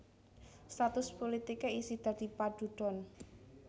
Status pulitiké isih dadi padudon